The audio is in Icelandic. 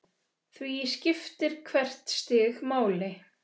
Því skiptir hvert stig máli.